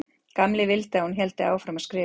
Gamli vildi að hún héldi áfram að skrifa.